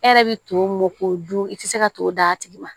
E yɛrɛ bi to mɔ k'o dun i tɛ se ka to d'a tigi ma